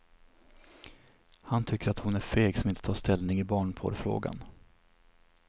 Han tycker hon är feg som inte tar ställning i barnporrfrågan.